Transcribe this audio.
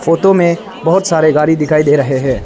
Photo में बहुत सारे गाड़ी दिखाई दे रहे हैं।